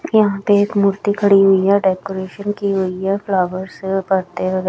यहां पे एक मूर्ति खड़ी हुई है डेकोरेशन की हुई हैं फ्लावर से पत्ते व--